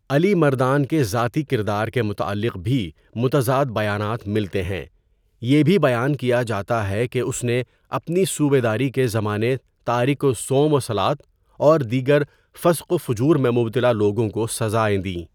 علی مردان کے ذاتی کردار کے متعلق بھی متضاد بیانات ملتے ہیں یہ بھی بیان کیا جاتا ہے کہ اس نے اپنی صوبیداری کے زمانے تارک صوم و صلواۃ اور دیگر فسق و فجور میں مبتلا لوگوں کو سزائیں دیں.